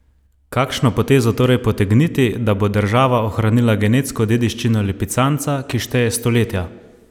Kakšno potezo torej potegniti, da bo država ohranila genetsko dediščino lipicanca, ki šteje stoletja?